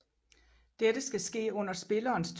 Dette skal ske under spillerens tur